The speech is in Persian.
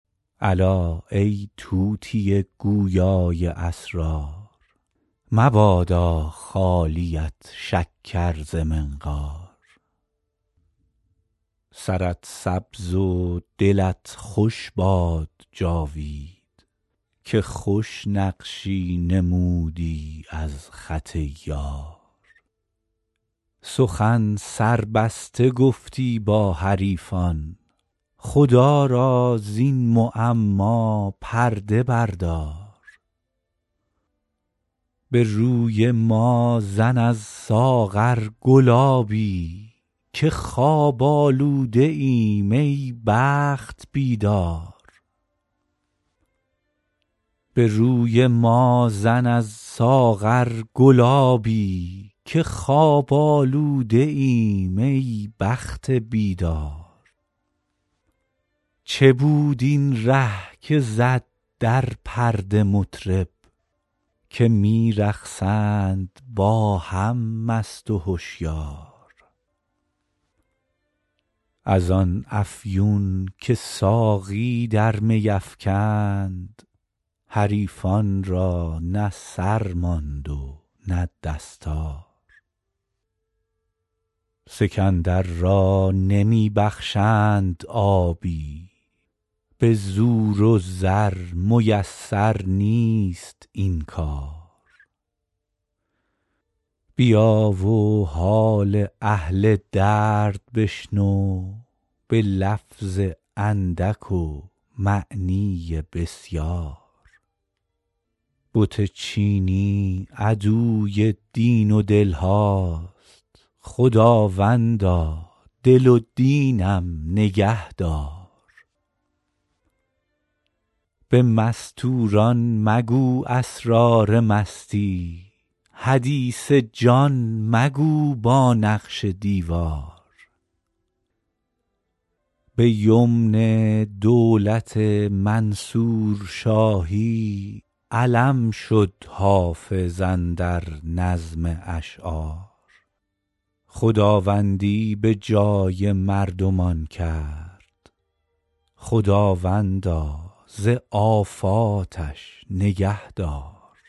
الا ای طوطی گویا ی اسرار مبادا خالیت شکر ز منقار سرت سبز و دلت خوش باد جاوید که خوش نقشی نمودی از خط یار سخن سربسته گفتی با حریفان خدا را زین معما پرده بردار به روی ما زن از ساغر گلابی که خواب آلوده ایم ای بخت بیدار چه ره بود این که زد در پرده مطرب که می رقصند با هم مست و هشیار از آن افیون که ساقی در می افکند حریفان را نه سر ماند نه دستار سکندر را نمی بخشند آبی به زور و زر میسر نیست این کار بیا و حال اهل درد بشنو به لفظ اندک و معنی بسیار بت چینی عدوی دین و دل هاست خداوندا دل و دینم نگه دار به مستور ان مگو اسرار مستی حدیث جان مگو با نقش دیوار به یمن دولت منصور شاهی علم شد حافظ اندر نظم اشعار خداوندی به جای بندگان کرد خداوندا ز آفاتش نگه دار